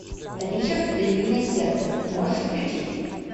ричард львиное сердце можешь включить